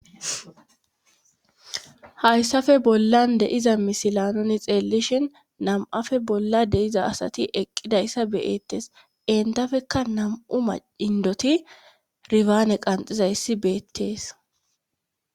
hayssafe bollan deiza misilanoni xeellishin nam7afe bolla deiza asati eqqidayssa beyeettes entafekka nam7u ma indoti rifaane qanxiza yssi beettees